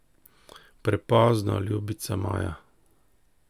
Prepozno, ljubica moja.